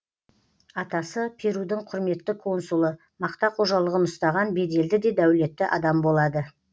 атасы перудің құрметті консулы мақта қожалығын ұстаған беделді де дәулетті адам болады